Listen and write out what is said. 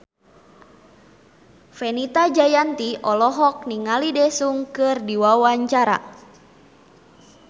Fenita Jayanti olohok ningali Daesung keur diwawancara